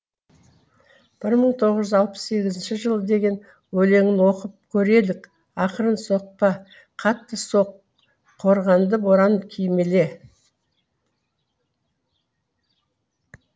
бір мыі тоғыз жүз алпыс сегізінші жыл деген өлеңін оқып көрелік ақырын соқпа қатты соқ қорғанды боран кимеле